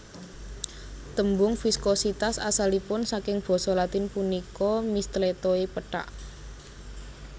Tembung viskositas asalipun saking basa Latin punika mistletoe pethak